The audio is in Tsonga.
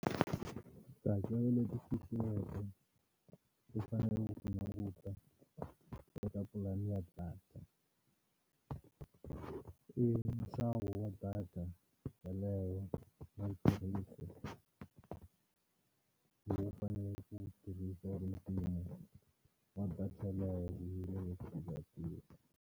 Tihakelo leti fihliweke ndzi faneleke ku ti languta eka pulani ya data i nxavo wa data yaleyo lowu faneleke ku tirhisa mimpimo wa data yaleyo .